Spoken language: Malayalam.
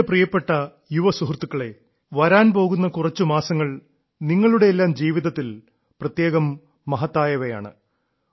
എന്റെ പ്രിയപ്പെട്ട യുവ സുഹൃത്തുക്കളേ വരാൻ പോകുന്ന കുറച്ചു മാസങ്ങൾ നിങ്ങളുടെയെല്ലാം ജീവിതത്തിൽ പ്രത്യേകം മഹത്തായവയാണ്